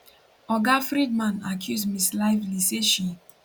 oga freedman accuse ms lively say she